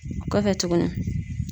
Kɔfɛ tuguni